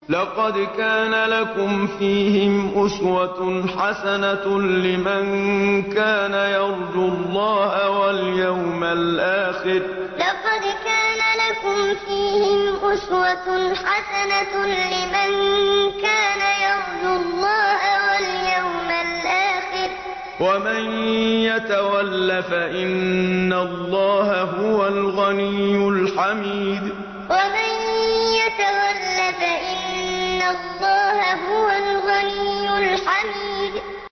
لَقَدْ كَانَ لَكُمْ فِيهِمْ أُسْوَةٌ حَسَنَةٌ لِّمَن كَانَ يَرْجُو اللَّهَ وَالْيَوْمَ الْآخِرَ ۚ وَمَن يَتَوَلَّ فَإِنَّ اللَّهَ هُوَ الْغَنِيُّ الْحَمِيدُ لَقَدْ كَانَ لَكُمْ فِيهِمْ أُسْوَةٌ حَسَنَةٌ لِّمَن كَانَ يَرْجُو اللَّهَ وَالْيَوْمَ الْآخِرَ ۚ وَمَن يَتَوَلَّ فَإِنَّ اللَّهَ هُوَ الْغَنِيُّ الْحَمِيدُ